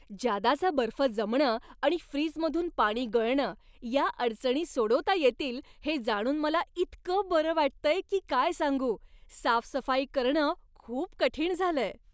जादाचा बर्फ जमणं आणि फ्रीजमधून पाणी गळणं या अडचणी सोडवता येतील हे जाणून मला इतकं बरं वाटतंय की काय सांगू! साफसफाई करणं खूप कठीण झालंय.